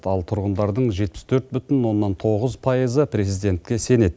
ал тұрғындардың жетпіс төрт бүтін оннан тоғыз пайызы президентке сенеді